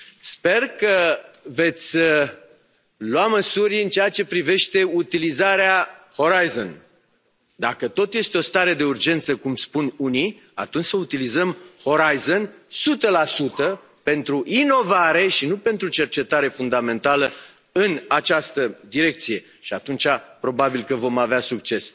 Sper că veți lua măsuri în ceea ce privește utilizarea programului Orizont Europa. Dacă tot este o stare de urgență, cum spun unii, atunci să utilizăm Orizont Europa sută la sută pentru inovare și nu pentru cercetare fundamentală în această direcție și atunci probabil că vom avea succes.